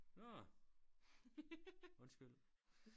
Nårh undskyld